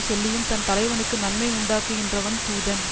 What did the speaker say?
சொல்லியும் தன் தலைவனுக்கு நன்மை உண்டாக்குகின்றவன் தூதன்